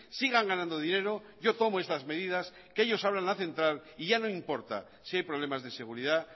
sigan ganando dinero yo tomo estas medidas que ellos abran la central y ya no importa si hay problemas de seguridad